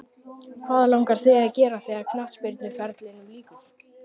Hvað langar þig að gera þegar að knattspyrnuferlinum líkur?